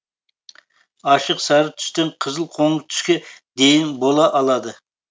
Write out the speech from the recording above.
ашық сары түстен қызыл қоңыр түске дейін бола алады